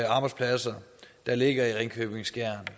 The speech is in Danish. arbejdspladser der ligger i ringkøbing skjern